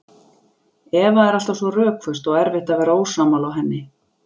Eva er alltaf svo rökföst og erfitt að vera ósammála henni.